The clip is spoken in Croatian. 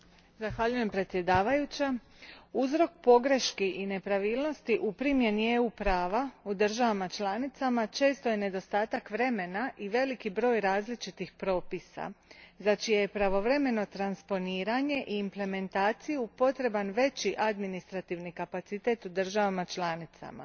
Gospođo predsjednice, uzrok pogrešaka i nepravilnosti u primjeni EU prava u državama članicama često je nedostatak vremena i velik broj različitih propisa za čije je pravovremeno transponiranje i implementaciju potreban veći administrativni kapacitet u državama članicama.